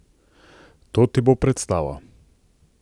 To ti bo predstava!